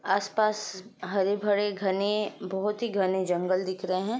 आस-पास हरे-भरे घने बहुत ही घने जंगल दिख रहे हैं।